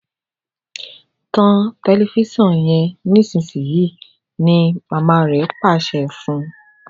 tan Tẹlifíṣàn yen nísìsiyìí! ní mama rẹ Pàṣẹ fún.